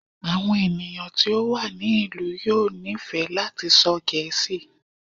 Àwọn ènìyàn tí ó wà ní ìlú yóò nífẹ̀ẹ́ láti sọ Gẹẹ́sì.